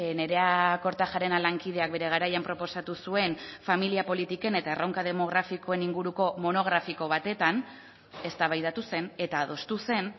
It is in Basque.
nerea kortajarena lankideak bere garaian proposatu zuen familia politiken eta erronka demografikoen inguruko monografiko batetan eztabaidatu zen eta adostu zen